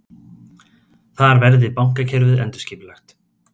Þar verði bankakerfið endurskipulagt